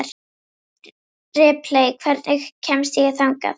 Ripley, hvernig kemst ég þangað?